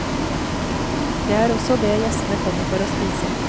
Det er også det gjestene kommer for å spise.